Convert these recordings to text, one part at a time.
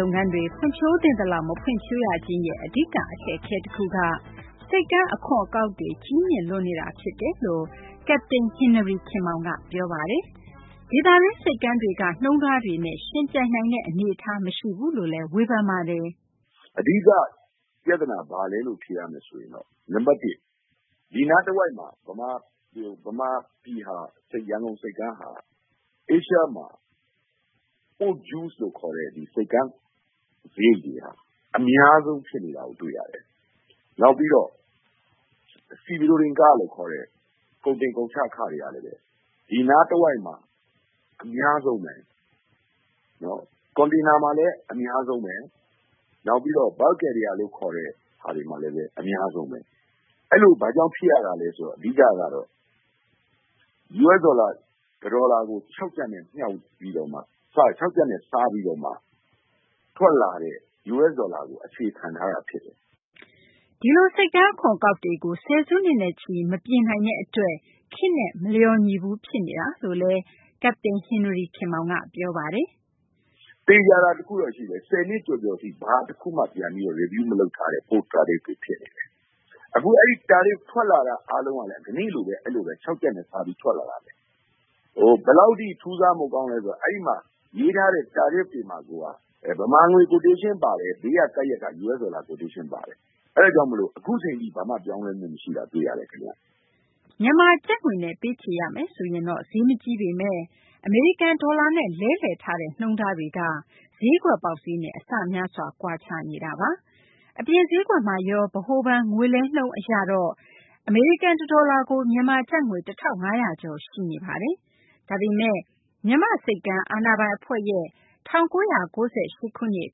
လုပ်ငန်းတွေ ဖွံ့ဖြိုးသင့်သလောက် မဖွံ့ဖြိုးရခြင်းရဲ့ အဓိက အခက်အခဲ တခုက ဆိပ်ကမ်း အခွန်အကောက်တွေ ကြီးမြင့်လွန်းနေတာ ဖြစ်တယ်လို့ ကပ္ပတိန် ဟင်နရီ ခင်မောင်က ပြောပါတယ်။ ဒေသတွင်း ဆိပ်ကမ်းတွေက နှုန်းထားတွေနဲ့ ယှဉ်ပြိုင်နိုင်တဲ့ အနေအထားမရှိဘူးလို့လည်း ပြောပါတယ်။ ကပ္ပတိန် ဟင်နရီ ခင်မောင်။ ။ အဓိက ပြသနာ ဘာလဲလို့ ဖြေရမယ်ဆိုရင် နံပတ် ၁ ဒီနားတဝိုက်မှာ ဗမာပြည် ရန်ကုန်ဆိပ်ကမ်းဟာ Asia မှာ Port Due လို့ ခေါ်တဲ့ ဆိပ်ကမ်းစာရိတ်တွေက အများဆုံး ဖြစ်နေတာကို တွေ့ရတယ်။ နောက်ပြီးတော့ Sea ခလို့ ခေါ်တဲ့ ကုန်တင်ကုန်ချ ခတွေကလည်း ဒီနားတဝိုက်မှာ အများဆုံးဘဲ။ ကွန်တိန်နာမှာလည်း အများဆုံးဘဲ။ နောက်ပြီးတော့ bulk carrier လို့ ခေါ်တဲ့ဟာတွေမှာလည်း အများဆုံးဘဲ။ အဲလို ဘာကြောင့် ဖြစ်ရတာလဲ ဆိုတော့ အဓိကကတော့ US ဒေါ်လာ တဒေါ်လာကို ၆ ကျပ်နဲ့ စားပြီးတော့မှ ထွက်လာတဲ့ US ဒေါ်လာကို အခြေခံထားတာ ဖြစ်ပါတယ်။ သိင်္ဂ ီထိုက်။ ။ ဒီလို ဆိပ်ကမ်း အခွန်အကောက်တွေကို ဆယ်စုနှစ်နဲ့ချီ မပြင်နိုင်တဲ့ အတွက် ခေတ်နဲ့ မလျော်ညီဘူး ဖြစ်နေတာလို့လည်း ကပ္ပတိန် ဟင်နရီ ခင်မောင်က ပြောပါတယ်။ ကပ္ပတိန် ဟင်နရီ ခင်မောင်။ ။ သေချာတာ တခုတော့ ရှိတယ်။ ၁၀ နှစ်ကျော်ကျော်ထိ ဘာတခုမှ ပြန်ပြီး Review လုပ်မထားတဲ့ Port Tariff တွေဖြစ်တယ်။ အဲဒီ Tariff ထွက်လာတာ အားလုံးကလည်း ကနေ့လိုဘဲ အဲလို ၆ ကျပ်နဲ့ စားပြီး ထွက်လာတာဘဲ။ ဟို ဘယ်လောက်ထိ ထူးဆန်းဖို့ ကောင်းလဲ ဆိုတော့ အဲဒီမှာ ရေးထားတဲ့ Tariff တွေမှာကိုက ဗမာငွေ Quotation ပါတယ်။ ဘေးမှာ ကပ်ရပ်က US ဒေါ်လာ Quotation ပါတယ်။ အဲဒါကြောင့်မို့ အခုအချိန်ထိ ဘာမှ ပြောင်းလဲမှု မရှိတာ တွေ့ရတယ် ခင်ဗျ။ သိင်္ဂ ီထိုက်။ ။ မြန်မာကျပ်ငွေနဲ့ ပေးချေရမယ်ဆိုရင်တော့ ဈေးမကြီးပေမယ့် အမေရိကန် ဒေါ်လာနဲ့ လဲလှယ်ထားတဲ့ နှုန်းထားက ဈေးကွက်ပေါက်ဈေးနဲ့ အဆများစွာ ကွာခြားနေပါတယ်။ အပြင် ဈေးကွက်မှာရော ဗဟိုဘဏ် ငွေလဲနှုန်းအရတော့ အမေရိကန် တဒေါ်လာကို မြန်မာကျပ်ငွေ ၁၅၀၀ ကျော် ရှိနေတာပါ။ ဒါပေမယ့် မြန်မာ့ဆိပ်ကမ်းအာဏာပိုင် အဖွဲ့ရဲ့၁၉၉၈ ခုနှစ်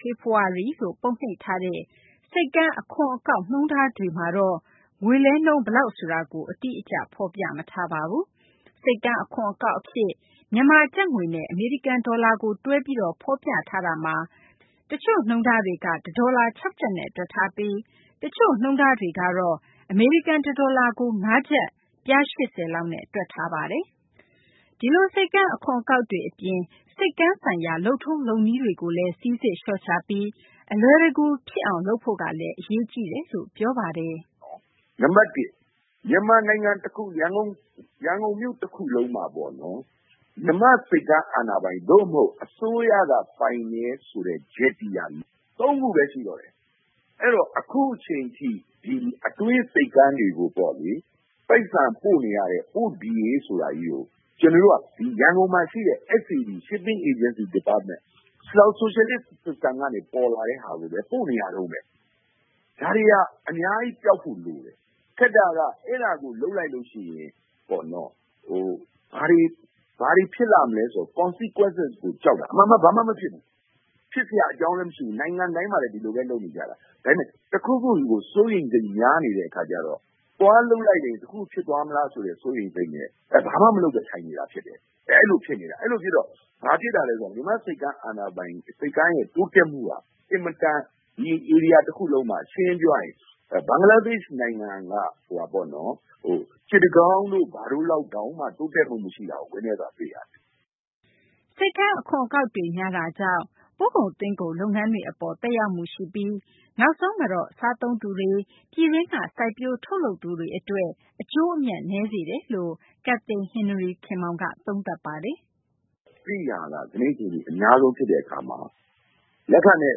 ဖေဖော်ဝါရီလို့ ပုံနှိပ်ထားတဲ့ ဆိပ်ကမ်း အခွန် အကောက် နှုန်းထားတွေမှာတော့ ငွေလဲနှုန်း ဘယ်လောက် ဆိုတာကို အတိအကျ မရှိပါဘူး။ ဆိပ်ကမ်း အခွန်အကောက် အဖြစ် မြန်မာ ကျပ်ငွေနဲ့ အမေရိကန် ဒေါ်လာကို တွဲပြီး ဖော်ပြထားတာမှာ တချို့ နှုန်းထားတွေမှာ တဒေါ်လာ ၆ ကျပ်လောက်နဲ့ တွက်ထားပြီး တချို့ နှုန်းထားတွေမှာတော့ အမေရိကန် တဒေါ်လာကို ၅ ကျပ် ပြား ၈၀ လောက်နဲ့ တွက်ထားပါတယ်။ ဒီလို ဆိပ်ကမ်း အခွန် အကောက်တွေ အပြင် ဆိပ်ကမ်း ဆိုင်ရာ လုပ်ငန်းတွေ လုပ်ထုံးလုပ်နည်းတွေကို စိစစ်လျှော့ချပြီး အလွယ်တကူ ဖြစ်လာအောင် လုပ်ဖို့ကလည်း အရေးကြီးတယ်လို့ ဆိုပါတယ်။ ကပ္ပတိန် ဟင်နရီ ခင်မောင်။ ။ နံပတ် ၁ မြန်မာနိုင်ငံ အခု ရန်ကုန်မြို့ တခုလုံးမှာပေါ့နော် မြန်မာ့ ဆိပ်ကမ်းအာဏာပိုင် သို့မဟုတ် အစိုးရက ပိုင်တယ်ဆိုတဲ့ Jetty က ၃ခုဘဲ ရှိတော့တယ်။ အဲတော့ အခုအချိန်ထိ အတွင်း ဆိပ်ကမ်းတွေကိုပေါ့လေ ပိုက်ဆံပို့နေရတဲ့ Port DA ဆိုတာကြီးကို ကျနော်တို့က ရန်ကုန်မှာရှိတဲ့ SAD –Shipping Agency Department ဆိုရှယ်လစ် System ကနေ ပေါ်လာတဲ့ ဟာကိုဘဲ ပို့နေရတုန်းဘဲ။ ဒါတွေဟာ အများကြီး ပျောက်ဖို့ လိုတယ်။ ခက်တာက အဲဒါကို လုပ်လိုက်လို့ ရှိရင် ပေါ့နော် ဘာတွေ ဖြစ်လာမလဲ ဆိုတဲ့ Consequences ကို ကြောက်တာ။ အမှန်က ဘာမှ မဖြစ်ဘူး။ ဖြစ်စရာ အကြောင်းလည်း မရှိဘူး။ နိုင်ငံတိုင်းမှာလည်း ဒီလိုဘဲ လုပ်နေကြတာ။ ဒါပေမယ့် တခုခုကို စိုးရိမ်စိတ်များ နေတဲ့ အခါကျတော့ သွားလုပ်လိုက်တယ် တခုခု ဖြစ်သွားမလားဆိုတဲ့ စိုးရိမ်စိတ်နဲ့ ဘာမှ မလုပ်ဘဲ ထိုင်နေတာ ဖြစ်တယ်။ အဲလို ဖြစ်နေတာ။ အဲလို ဖြစ်တော့ ဘာဖြစ်တာလဲ ဆိုတော့ မြန်မာ့ ဆိပ်ကမ်းအာဏာပိုင် ဆိပ်ကမ်းရဲ့ တိုးတက်မှုက အင်မတန် ဒီဧရိယာ တခုလုံးမှာ ရှင်းရှင်း ပြောရရင် ဘင်္ဂလားဒေရှ့် နိုင်ငံက စစ်တကောင်းတို့ ဘာတို့ လောက်တောင်မှ တိုးတက်မှု မရှိတာကို ဝမ်းနည်းစွာ တွေ့ရတယ်။ သိင်္ဂ ီထိုက်။ ။ ဆိပ်ကမ်း အခွန်အကောက်တွေ များတာကြောင့် ပို့ကုန် သွင်းကုန် လုပ်ငန်းတွေ အပေါ်မှာ သက်ရောက်မှုရှိပြီး နောက်ဆုံးတော့ စားသုံးသူတွေ၊ ပြည်တွင်းက စိုက်ပျိုး ထုတ်လုပ်သူတွေ အတွက် အကျိုးနည်းစေတယ်လို့လည်း ကပ္ပတိန် ဟင်နရီ ခင်မောင်က သုံးသပ်ပါတယ်။ ကပ္ပတိန် ဟင်နရီ ခင်မောင်။ ။ အဲဒီဟာက ကနေ့ အချိန်ထိ အများဆုံး ဖြစ်တဲ့ အခါမှာ လက်ခနဲ့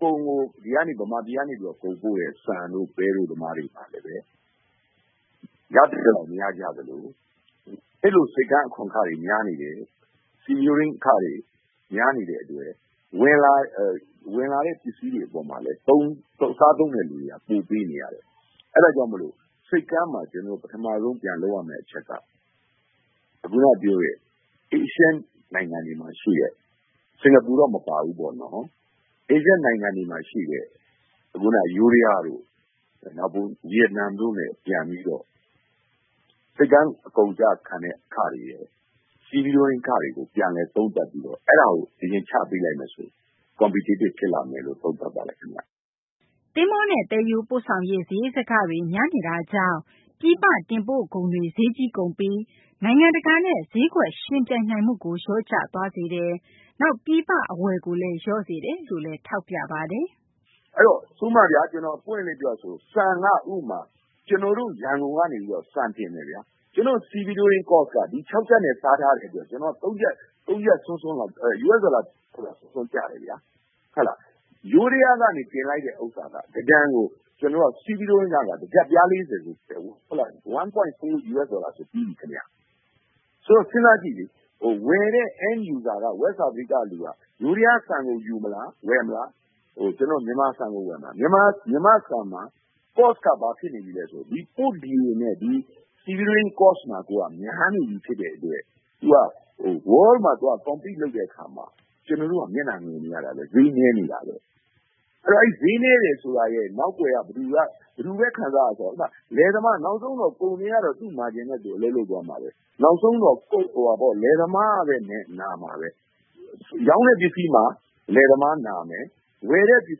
ကုန်ကို ဒီကနေ ဗမာပြည်ကနေ ကုန်ပို့တဲ့ ဆန်တို့ ပဲတို့ သမားတွေ ရသင့်သလောက် မရကြသလို အဲလို ဆိပ်ကမ်း အခွန်အခတွေ များနေတယ်။ Sea-going အခတွေ များနေတဲ့ အတွက် ဝင်လာတဲ့ ပစ္စည်းတွေ အပေါ်မှာလည်း စားသုံးတဲ့ သူတွေက ပိုပေးနေရတယ်။ အဲဒါကြောင့် မို့လို့ ဆိပ်ကမ်းမှာ ကျနော်တို့ ပထမဆုံး ပြန်လုပ်ရမယ့် အချက်က ခုနက ပြောတဲ့ Asian နိုင်ငံတွေမှာ ရှိတဲ့ စကာၤပူတော့ မပါဘူးပေါ့နော်။ အာရှ နိုင်ငံတွေမှာ ရှိတဲ့ ခုနက ယိုးဒယားတို့ ဗီယက်နမ်တို့နဲ့ ပြန်ပြီးတော့ ဆိပ်ကမ်း ကုန်ကျခံတဲ့ အခတွေရယ်၊ Stevedoring ခတွေကို ချပေးလိုက်မယ်ဆိုရင်တော့ Competitive ဖြစ်လာမယ်လို့ သုံးသပ်ပါတယ် ခင်ဗျ။ သိင်္ဂ ီထိုက်။ ။ သဘောၤနဲ့ သယ်ယူပို့ဆောင်ရေး စာရိတ်စကတွေ များနေတာကြောင့် ပြည်ပ တင်ပို့ကုန်တွေ ဈေးကြီးကုန်ပြီး နိုင်ငံတကာနဲ့ ဈေးကွက်ယှဉ်ပြိုင်နိုင်မှုကို လျော့ကျသွားစေတယ်၊ နောက် ပြည်ပ အဝယ်ကိုလည်း လျော့စေတယ်လို့လည်း ဆိုပါတယ်။ ကပ္ပတိန် ဟင်နရီ ခင်မောင်။ ။ ဥပမာဗျာ ကျနော် ပွင့်ပွင့်လင်းလင်း ပြောရမယ်ဆိုရင်တော့ ဆန် က ဥပမာ ကျနော်တို့ ရန်ကုန်က နေပြီးတော့ ဆန်တင်မယ်ဗျာ။ ကျနော်တို့ Stevedoring Cost က ဒီ ၆ ကျပ်နဲ့ စားထားတယ်ဆိုတော့ US ဒေါ်လာ ၃ ကျပ်လောက် ကျတယ်ဗျာ။ ယိုးဒယားက တင်လိုက်တဲ့ ဥစ္စာက တတန်ကို Stevedoring ခက တကျပ် ပြား ၃၀ ဒေါ်လာဆို ပြီးပြီ။ ဆိုတော့ စဉ်းစားကြည့်လေ ဝယ်တဲ့ End User က West Africa က လူက ယိုးဒယား ဆန်ကို ဝယ်မလား၊ ကျနော်တို့ မြန်မာဆန်ကို ဝယ်မလား။ မြန်မာ့ဆန်က Cost က ဘာဖြစ်နေပြီလဲ ဆိုတော့ ဒီ Port DA နဲ့ Stevedoring Cost မှာကိုက များနေပြီ ဖြစ်တဲ့ အတွက် ကမ္ဘာမှာ ယှဉ်ပြိုင်တဲ့ အခါမှာ ကျနော်တို့က မျက်နှာငယ်နေရတာဘဲ။ ဈေးနည်းနေတာဘဲ။ အဲဒီ ဈေးနည်းနေတယ်ဆိုတာရဲ့ နောက်ကွယ်က ဘယ်သူဘဲ ခံစားရလဲ ဆိုတော့ ဥပမာ လယ်သမား။ နောက်ဆုံးတော့ ကုန်သည်ကတော့ သူ့ Margin နဲ့သူ အလုပ်လုပ်သွားမှာဘဲ။ နောက်ဆုံးတော့ လယ်သမားကဘဲ နာမှာဘဲ။ ရောင်းတဲ့ ပစ္စည်းမှာ လယ်သမား နာမယ်။ ဝယ်တဲ့ ပစ္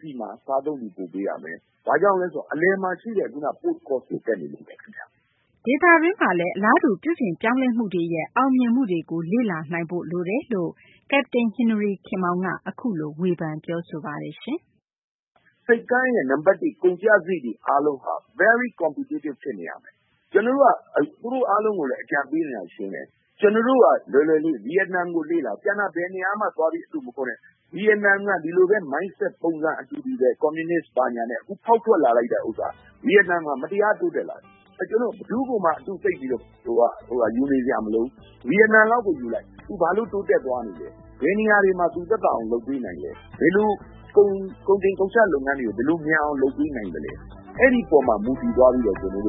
စည်းမှာ စားသုံးသူ ပိုပေးရမယ်။ ဘာကြောင့်လဲ ဆိုတော့ အလယ်မှာ ရှိတဲ့ ခုနက Post Cost တွေ တက်နေလို့ဘဲ ခင်ဗျ။ သိင်္ဂ ီထိုက်။ ။ ဒေသတွင်းမှာလည်း အလားတူ ပြုပြင်ပြောင်းလဲမှုတွေ အောင်မြင်မှုတွေ ရှိနေတာကိုလည်း ကပ္ပတိန် ဟင်နရီ ခင်မောင်က အခုလို ထောက်ပြ ပြောဆိုသွားပါတယ်။ ကပ္ပတိန် ဟင်နရီ ခင်မောင်။ ။ ဆိပ်ကမ်းရဲ့ ကုန်ကျစာရိတ်တွေ အားလုံးက Very Competitive ဖြစ်နေရမယ်။ ကျနော်တို့က သူတို့ အားလုံးကိုလည်း အကြံပေးနေတာ ရှင်းတယ်။ ကျနော်တို့က လွယ်လွယ်လေး။ ဗီယက်နမ်ကို လေ့လာ။ ကျန်တာ ဘယ်နေရာမှ သွားပြီး အတုမခိုးနဲ့။ ဗီယက်နမ်က ဒီလိုဘဲ Mindset ပုံစံ အတူတူဘဲ။ ကွန်မြူနစ် ဘာညာနဲ့ အခု ဖောက်ထွက်လာလိုက်တာ ဆိုတာ ဗီယက်နမ်မှာ မတရား တိုးတက်လာတယ်။ ကျနော်တို့ ဘယ်သူ့ကိုမှ အတုသိပ်ယူနေစရာ မလိုဘူး။ ဗီယက်နမ်လောက်ကို ယူလိုက်။ သူ ဘာလို့ တိုးတက်သွားနေလဲ။ ဘယ်နေရာတွေမှာ သူသက်သာအောင် လုပ်ပေးနိုင်သလဲ။ ဘယ်လိုကုန်တင် ကုန်ချ လုပ်ငန်းတွေကို ဘယ်လို မြန်အောင် လုပ်ပေးနိုင်သလဲ။ အဲဒီပေါ်မှာ မူတည်သွားပြီးတော့ ကျနော်တို့